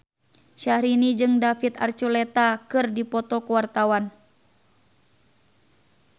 Syahrini jeung David Archuletta keur dipoto ku wartawan